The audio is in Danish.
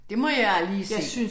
Det må jeg lige se